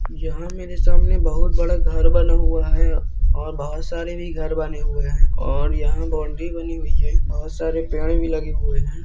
यहां मेरे सामने बहुत बड़ा घर बना हुआ है और बहुत सारे भी घर बने हुए है और यहां बाउंड्री बनी हुई है बहुत सारे पेड़ भी लगे हुए है।